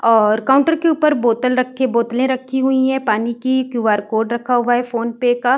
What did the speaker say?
और काउंटर के ऊपर बोतल रखे बोतलें रखी हुई हैं पानी की। क्यू.आर. कोड रखा हुआ है फ़ोनपे का।